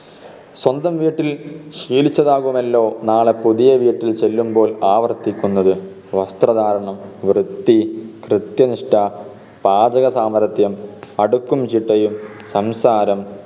സ്വന്തം വീട്ടിൽ ശീലിച്ചതാകുമല്ലോ നാളെ പുതിയ വീട്ടിൽ ചെല്ലുമ്പോൾ ആവർത്തിക്കുന്നത് വസ്ത്രധാരണം വൃത്തി കൃത്യനിഷ്‌ഠ പാചകസമർഥ്യം അടുക്കും ചിട്ടയും സംസാരം